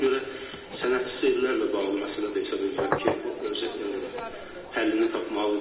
Ona görə sənədsiz evlərlə bağlı məsələ də hesab edirəm ki, həllini tapmalıdır.